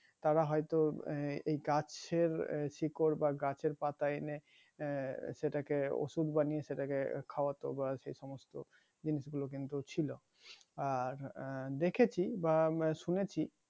তারা হয়তো গাছের শিকর বা গাছের পাতা এনে আহ সেটাকে ঔষধ বানিয়ে সেটাকে খাওয়াতো বা সেসমস্ত গুলো কিন্তু ছিলো আর দেখেছি বা উম শুনেছি